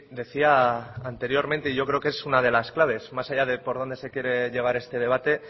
decía anteriormente y yo creo qué es una de las claves más allá de por donde se quiere llevar este debate